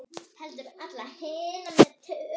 Heldur allra hinna með tölu.